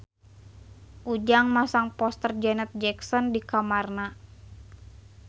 Ujang masang poster Janet Jackson di kamarna